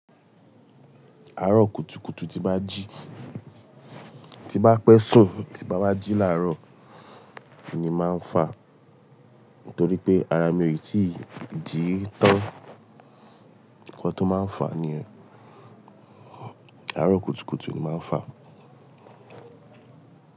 Arọ kùtùkùtù tí bá jí, tí bá pẹ́sùn tí bá wá jí làárọ̀ ni màá n fa nítorí pé ara mi ò ì tí ji í tán. Ǹkan tó máa n fà ni yen, arọ kùtùkùtù ni màá n fà.